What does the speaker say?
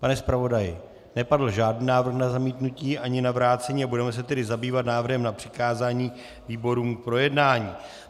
Pane zpravodaji, nepadl žádný návrh na zamítnutí ani na vrácení, a budeme se tedy zabývat návrhem na přikázání výborům k projednání.